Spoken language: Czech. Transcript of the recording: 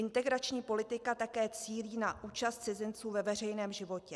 Integrační politika také cílí na účast cizinců ve veřejném životě.